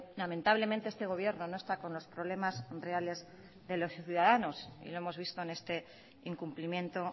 lamentablemente este gobierno no está con los problemas reales de los ciudadanos y lo hemos visto en este incumplimiento